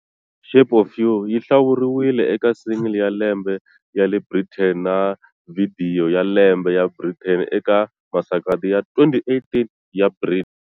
"Shape of You" yi hlawuriwile eka Single ya Lembe ya le Britain na Vhidiyo ya Lembe ya Britain eka Masagwadi ya 2018 ya Brit.